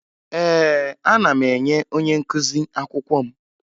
Ee, ana m enye onye nkụzi akwụkwọ m